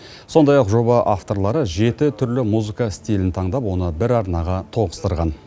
сондай ақ жоба авторлары жеті түрлі музыка стилін таңдап оны бір арнаға тоғыстырған